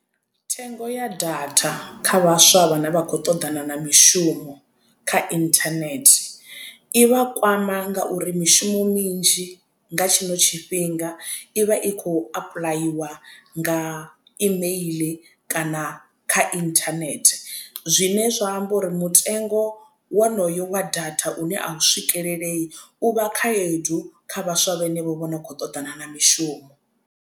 Thengo ya data kha vhaswa vhane vha khou ṱoḓana na mishumo kha internet i vha kwama ngauri mishumo minzhi nga tshino tshifhinga i vha i khou apuḽayiwa nga kha email kana kha internet zwine zwa amba uri mutengo wonoyo wa data une a u swikelelei u vha khayedu kha vhaswa vhanevho vhono khou ṱoḓana na mishumo.